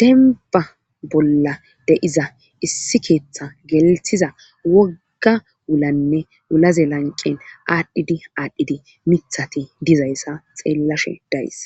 denba bolla de7iza issi keeththa gelthiza wogga wulanne wulaze lanqen aadhdhidi aadhdhidi mithati dizayssa xeellashe days